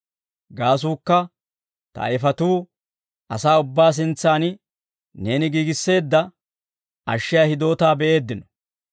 Gaasuukka, ta ayfatuu, asaa ubbaa sintsan Neeni giigisseedda, ashshiyaa hidootaa be'eeddino.